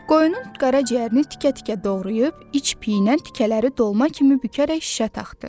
Qoyunun qara ciyərini tikə-tikə doğrayıb, iç piynən tikələri dolma kimi bükərək şişə taxdı.